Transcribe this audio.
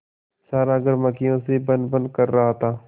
सारा घर मक्खियों से भनभन कर रहा था